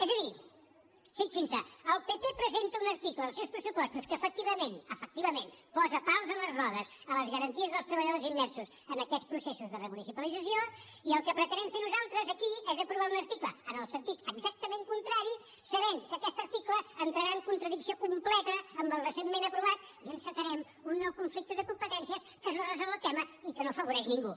és a dir fixin se el pp presenta un article als seus pressupostos que efectivament efectivament posa pals a les rodes a les garanties dels treballadors immersos en aquests processos de remunicipalització i el que pretenem fer nosaltres aquí és aprovar un article en el sentit exactament contrari sabent que aquest article entrarà en contradicció completa amb el recentment aprovat i encetarem un nou conflicte de competències que no resol el tema i que no afavoreix ningú